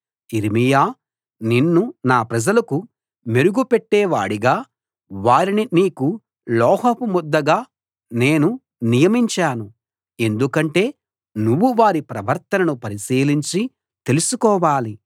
యిర్మీయా నిన్ను నా ప్రజలకు మెరుగు పెట్టేవాడిగా వారిని నీకు లోహపు ముద్దగా నేను నియమించాను ఎందుకంటే నువ్వు వారి ప్రవర్తనను పరిశీలించి తెలుసుకోవాలి